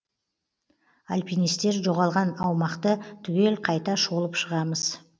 альпинистер жоғалған аумақты түгел қайта шолып шығамыз